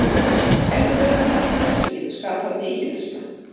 Eldfljótur kantmaður sem getur skapað mikinn usla.